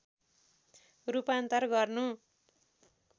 रूपान्तर गर्नु